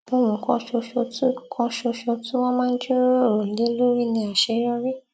ohun kan ṣoṣo tí kan ṣoṣo tí wón máa ń jíròrò lé lórí nílé ni àṣeyọrí